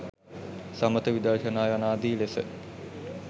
සමථ, විදර්ශනා යනාදි ලෙස